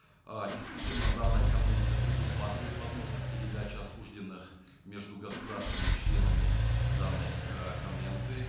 э действительно данная конвенция предусматривает возможность передачи осужденных между государствами членами данной э конвенции